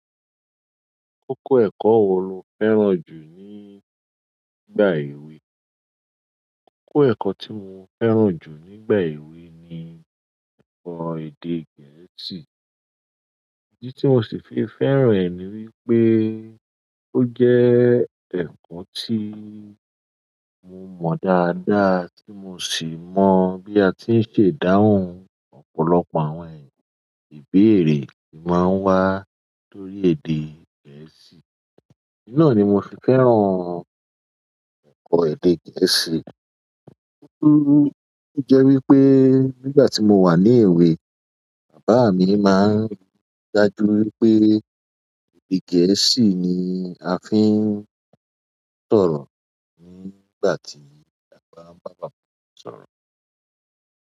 Kókó ẹ̀kọ́ wo lo fẹ́ràn jù nígbà èwe? Kókó ẹ̀kọ́ tí mo fẹ́ràn jù nígbà èwe ni ẹ̀kọ́ èdè Gẹ̀ẹ́sì. Ìdí tí mo sì fi fẹ́ràn rẹ̀ ni wípé ó jẹ́ ẹ̀kọ́ tí mo mọ̀ dáadáa, tí mo sì mọ̀ bí a ti ń ṣe dáhùn. Ọ̀pọ̀lọpọ̀ àwọn ìbéèrè máa ń wá lórí èdè Gẹ̀ẹ́sì. N náà ni mo fi fẹ́ràn ẹ̀kọ́ èdè Gẹ̀ẹ́sì. Boya ó jẹ́ wípé nígbà tí mo wà ní èwe, bàbá mi máa ń rí i dájú wípé èdè Gẹ̀ẹ́sì ni a fi ń sọ̀rọ̀ ní ìgbàtí abá fẹ bára wa sọ̀rọ̀.